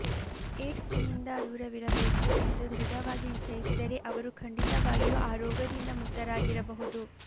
ಏಡ್ಸ್ನಿಂದ ದೂರವಿರಬೇಕು ಎಂದು ದೃಢವಾಗಿ ನಿಶ್ಚಯಿಸಿದರೆ ಅವರು ಖಂಡಿತವಾಗಿಯೂ ಆ ರೋಗದಿಂದ ಮುಕ್ತರಾಗಿರಬಹುದು